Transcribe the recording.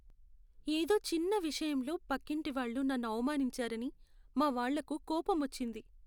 ఏదో చిన్న విషయంలో పక్కింటి వాళ్ళు నన్ను అవమానించారని మా వాళ్ళకు కోపమొచ్చింది.